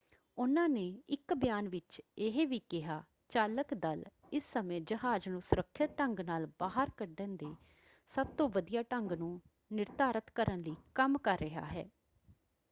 ਉਨ੍ਹਾਂ ਨੇ ਇੱਕ ਬਿਆਨ ਵਿੱਚ ਇਹ ਵੀ ਕਿਹਾ ਚਾਲਕ ਦਲ ਇਸ ਸਮੇਂ ਜਹਾਜ਼ ਨੂੰ ਸੁਰੱਖਿਅਤ ਢੰਗ ਨਾਲ ਬਾਹਰ ਕੱਢਣ ਦੇ ਸਭ ਤੋਂ ਵਧੀਆ ਢੰਗ ਨੂੰ ਨਿਰਧਾਰਤ ਕਰਨ ਲਈ ਕੰਮ ਕਰ ਰਿਹਾ ਹੈ"।